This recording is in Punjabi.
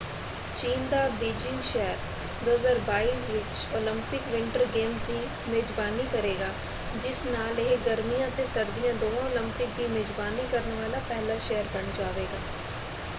ਚੀਨ ਦਾ ਬੀਜਿੰਗ ਸ਼ਹਿਰ 2022 ਵਿੱਚ ਓਲੰਪਿਕ ਵਿੰਟਰ ਗੇਮਜ਼ ਦੀ ਮੇਜ਼ਬਾਨੀ ਕਰੇਗਾ ਜਿਸ ਨਾਲ ਇਹ ਗਰਮੀਆਂ ਅਤੇ ਸਰਦੀਆਂ ਦੋਵਾਂ ਓਲੰਪਿਕ ਦੀ ਮੇਜ਼ਬਾਨੀ ਕਰਨ ਵਾਲਾ ਪਹਿਲਾ ਸ਼ਹਿਰ ਬਣ ਜਾਵੇਗਾ।